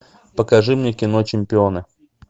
покажи мне кино чемпионы